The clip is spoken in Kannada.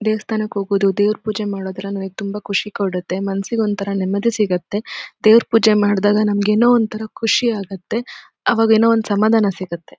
ದೇವಸ್ಥಾನಕ್ ಹೋಗೋದು ದೇವರ ಪೂಜೆ ಮಾಡುದು ಅಂದ್ರೆ ತುಂಬಾ ಖುಷಿ ಕೊಡುತ್ತೆ ಮನಸ್ಸಿಗೆ ಒಂದ್ ತರ ನೆಮ್ಮದಿ ಸಿಗುತ್ತೆ ದೇವರ ಪೂಜೆ ಮಾಡದಾಗ ನಮಗೆ ಏನೋ ಒಂದ್ ತರ ಖುಷಿ ಆಗುತ್ತೆ ಆವಾಗ ಏನೋ ಸಮಾಧಾನ ಸಿಗುತ್ತೆ.